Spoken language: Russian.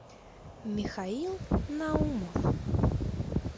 михаил наумов